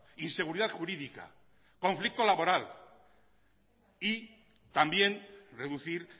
inseguridad jurídica conflicto laboral y también reducir